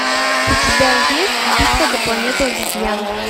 у тебя есть битва за планету обезьян